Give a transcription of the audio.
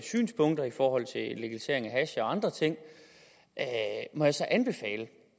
synspunkter i forhold til legalisering af hash og andre ting må jeg så anbefale